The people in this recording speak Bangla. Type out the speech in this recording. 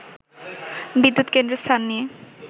“বিদ্যুৎ কেন্দ্রের স্থান নিয়ে